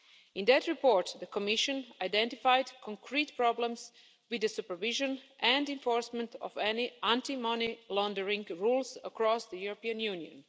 In that report, the Commission identified concrete problems with the supervision and enforcement of any anti money laundering rules across the European Union.